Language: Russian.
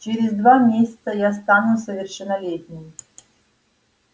через два месяца я стану совершеннолетним